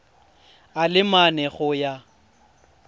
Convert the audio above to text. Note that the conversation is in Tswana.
a le mane go ya